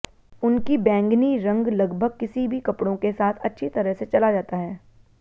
उनकी बैंगनी रंग लगभग किसी भी कपड़ों के साथ अच्छी तरह से चला जाता है